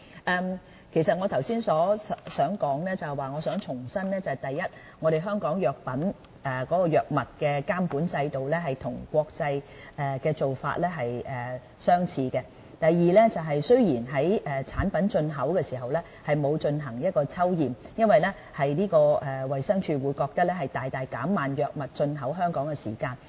我剛才是想重申，第一，香港藥物監管制度與國際的做法相似。第二，產品進口時沒有進行抽驗，是因為衞生署覺得這會大大減慢藥物進口香港的時間。